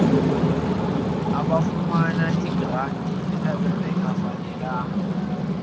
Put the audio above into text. abafumana iigranti abangafanelekanga